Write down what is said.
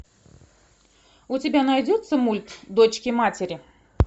у тебя найдется мульт дочки матери